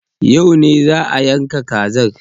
Yau ne za a yanka kazar?